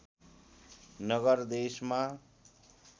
नगर देशमा